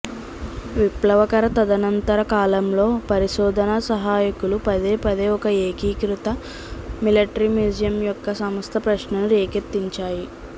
విప్లవకర తదనంతర కాలంలో పరిశోధనా సహాయకులు పదేపదే ఒక ఏకీకృత మిలిటరీ మ్యూజియం యొక్క సంస్థ ప్రశ్నను రేకెత్తించాయి